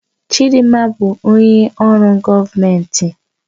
Chidinma bụ onye ọrụ gọọmentị